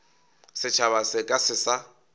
setšhaba se ka se sa